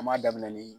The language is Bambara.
An m'a daminɛ nii